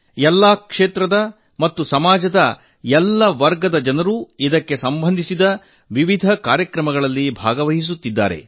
ಎಲ್ಲಾ ಕ್ಷೇತ್ರದ ಮತ್ತು ಸಮಾಜದ ಎಲ್ಲಾ ವರ್ಗದ ಜನರು ಇದಕ್ಕೆ ಸಂಬಂಧಿಸಿದ ನಾನಾ ಕಾರ್ಯಕ್ರಮಗಳಲ್ಲಿ ಭಾಗವಹಿಸುತ್ತಿದ್ದಾರೆ